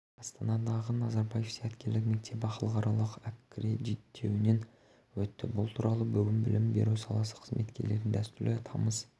астанадағы назарбаев зияткерлік мектебі халықаралық аккредиттеуінен өтті бұл туралы бүгін білім беру саласы қызметкерлерінің дәстүрлі тамыз